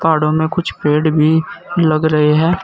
पहाड़ों में कुछ पेड़ भी लग रहे है।